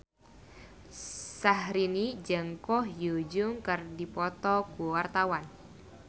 Syaharani jeung Ko Hyun Jung keur dipoto ku wartawan